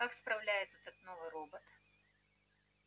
как справляется этот новый робот